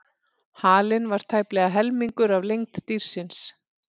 Halinn var tæplega helmingur af lengd dýrsins.